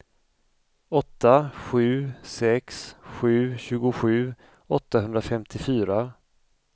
åtta sju sex sju tjugosju åttahundrafemtiofyra